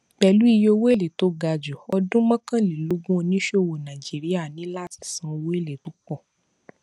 pẹlú iye owó èlé tó ga ju ọdún mọkànlélógún oníṣòwò nàìjíríà ní láti san owó èlé tó pọ